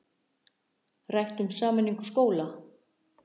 Rætt um sameiningu skóla